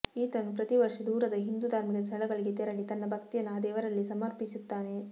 ಇತನು ಪ್ರತಿ ವರ್ಷ ದೂರದ ಹಿಂದೂ ಧಾರ್ಮಿಕ ಸ್ಥಳಗಳಿಗೆ ತೆರಳಿ ತನ್ನ ಭಕ್ತಿಯನ್ನು ಆ ದೇವರಲ್ಲಿ ಸಮರ್ಪಿಸುತ್ತಾನೆ